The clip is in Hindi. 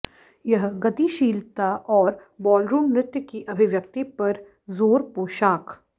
यह गतिशीलता और बॉलरूम नृत्य की अभिव्यक्ति पर जोर पोशाक